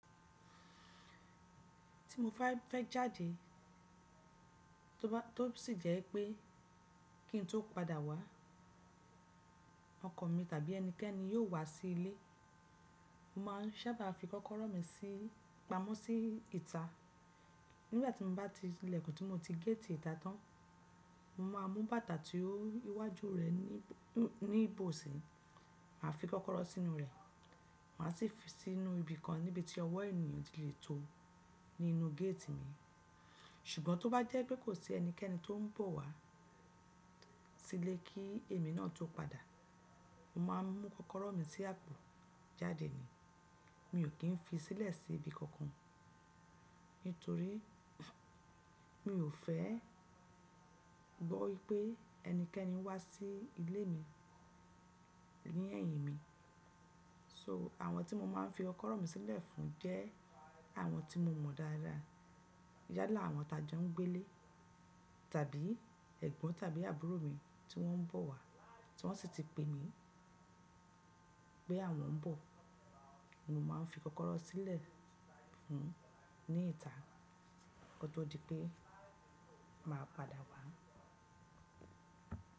Tí mo bá fẹ́ jáde, tó sì jẹ́ pé kí n tó padà wá, ọkọ mi tàbí ẹnikẹ́ni yóò wá sí ilé, mo má ń sábà fi kọ́kọ́rọ́ mi sí-- pamọ́ sí ìta. Nígbà tí mo bá ti ilẹ̀kùn tí mo ti géètì ìta tán, mo má a mú bàtà tí ó iwájú rẹ̀ ní bòò sí, màá fi kọ́kọ́rọ́ sínú rẹ̀. Màá sì fi sínú ibi kan níbi tí ọwọ́ ènìyàn o ti le tó ní inú géètì mi. Ṣùgbọ́n tó bá jẹ́ pé kò sí ẹnikẹ́ni tó ń bọ̀ wá sílé kí èmi náà tó padà, mo máa n mú kọ́kọ́rọ́ mi sí àpò jáde ni. Mi ò kí ń fi sílẹ̀ sí ibi kankan, nítorí mi ò fẹ́ gbọ́ wípé ẹnikẹ́ni wá sí ilé mi ni ẹ́yìn mi. So àwọn tí mo máa ń fi ọkọ́rọ̀ mi sílẹ̀ fún jẹ́ àwọn tí mo mọ̀ dáradára. Yálà àwọn tajo ń gbé lé tàbí ẹ̀gbọ́n tàbí àbúrò mi tí wọ́n ń bọ̀ wá tí wọ́n sì ti pè mí pé àwọn ń bọ̀. Mo má a ń fi kọ́kọ́rọ́ sílẹ̀ fún un ní ìta, ki o to di pé màá padà wá.